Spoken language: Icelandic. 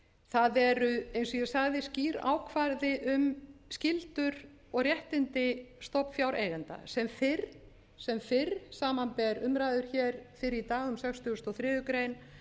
það eru eins og ég sagði skýr ákvæði um skyldur og réttindi stofnfjáreigenda sem fyrr samanber umræður hér fyrr í dag um sextugustu og